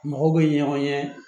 Mɔgɔw bɛ ɲɔgɔn ye